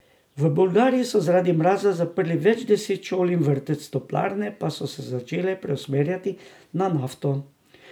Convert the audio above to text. V Bolgariji so zaradi mraza zaprli več deset šol in vrtcev, toplarne pa so se začele preusmerjati na nafto.